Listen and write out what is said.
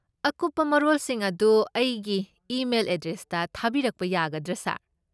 ꯑꯀꯨꯞꯄ ꯃꯔꯣꯜꯁꯤꯡ ꯑꯗꯨ ꯑꯩꯒꯤ ꯏꯃꯦꯜ ꯑꯦꯗ꯭ꯔꯦꯁꯇ ꯊꯥꯕꯤꯔꯛꯄ ꯌꯥꯒꯗ꯭ꯔꯥ, ꯁꯥꯔ?